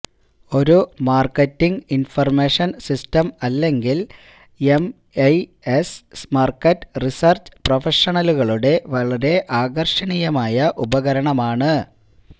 ഒരു marketing information system അല്ലെങ്കിൽ MIS market researcher പ്രൊഫഷണലുകളുടെ വളരെ ആകർഷണീയമായ ഉപകരണമാണ്